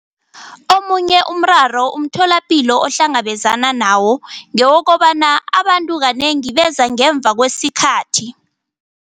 Omunye umraro umtholapilo ohlangabezana nawo ngewokobana abantu kanengi beza ngemva kwesikhathi.